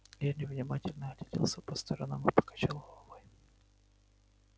генри внимательно огляделся по сторонам и покачал головой